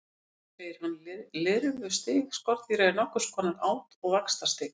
Þar segir hann: Lirfustig skordýra er nokkurs konar át- og vaxtarstig.